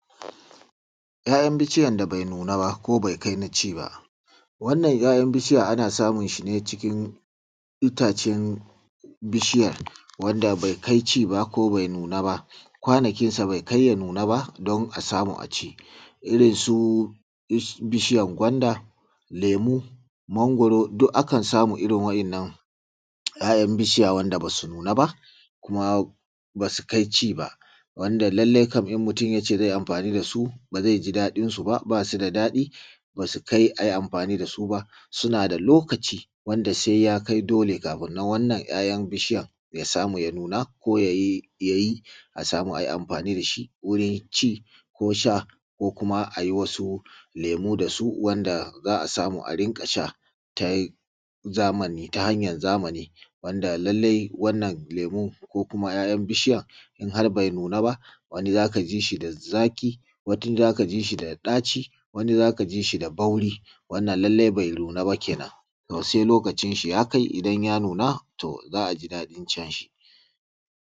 'ya'yan bishiyar da bai nuna ba ko bai kai ga ci ba 'ya'yan bishiya ana samunsa ne cikin itacen bishiya wanda ko bai kai ci ba ko bai nuna ba kwanakinsa bai ka ya nuna ba ko kuma ci irinsu bishiyar gwanda lemu, magwaro duk akan samu irin waɗannan 'ya'yan bishiya waɗanda ba su nuna ba kuma ba su kai ci ba wanda lallai kam in mutum ya ce zai anfani da su ba ji daɗinsu ba su da daɗi ba su kai ai anfani da su ba, suna da lokaci wanda siya kai dole kafin 'ya'yan bishiyar ya samu ya nuna ko ya yi a samu a yi anfani da shi wurin ci ko kuma a yi wani lemu da su wanda a sama a rinƙa sha ta hanyar zamani. Lallai wannan lemu ko kuma 'ya'yan bishiya in har bai nuna ba za ka ji shi ba zaƙi wata zubin za ka ji shi da ɗaci wani za ka ji shi da bauri lallai wannan bai nuna ba kenan sai lakocin shi ya kai idan ya nuna, to sai lokacin shi ya kai idan ya nuna za a ji dadin cin shi.